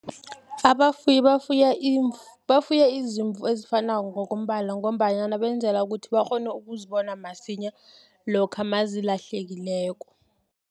Abafuyi bafuya izimvu ezifanako ngokombala, ngombanyana benzela ukuthi, bakghone ukuzibona masinya, lokha nazilahlekileko.